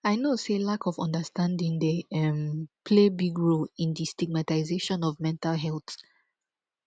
i know say lack of understanding dey um play big role in di stigamtization of mental health